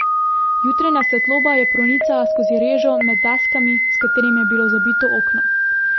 Jutranja svetloba je pronicala skozi režo med deskami, s katerimi je bilo zabito okno.